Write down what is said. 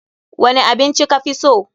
Wani abin ci ka fi so?